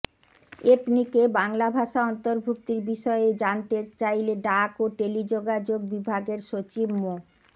এপনিকে বাংলা ভাষা অন্তর্ভুক্তির বিষয়ে জানতে চাইলে ডাক ও টেলিযোগাযোগ বিভাগের সচিব মো